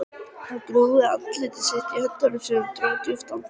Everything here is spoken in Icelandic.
Hann grúfði andlit sitt í höndunum og dró djúpt andann.